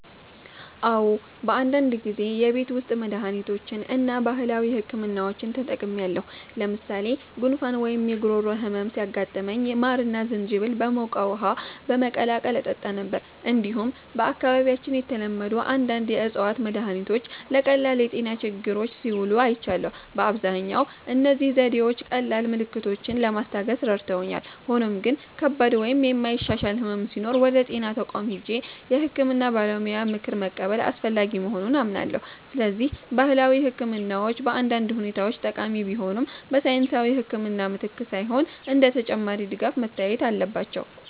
"አዎ፣ በአንዳንድ ጊዜ የቤት ውስጥ መድሃኒቶችን እና ባህላዊ ሕክምናዎችን ተጠቅሜያለሁ። ለምሳሌ ጉንፋን ወይም የጉሮሮ ህመም ሲያጋጥመኝ ማርና ዝንጅብል በሞቀ ውሃ በመቀላቀል እጠጣ ነበር። እንዲሁም በአካባቢያችን የተለመዱ አንዳንድ የእፅዋት መድሃኒቶች ለቀላል የጤና ችግሮች ሲውሉ አይቻለሁ። በአብዛኛው እነዚህ ዘዴዎች ቀላል ምልክቶችን ለማስታገስ ረድተውኛል፣ ሆኖም ግን ከባድ ወይም የማይሻሻል ሕመም ሲኖር ወደ ጤና ተቋም ሄጄ የሕክምና ባለሙያ ምክር መቀበል አስፈላጊ መሆኑን አምናለሁ። ስለዚህ ባህላዊ ሕክምናዎች በአንዳንድ ሁኔታዎች ጠቃሚ ቢሆኑም፣ በሳይንሳዊ ሕክምና ምትክ ሳይሆን እንደ ተጨማሪ ድጋፍ መታየት አለባቸው።"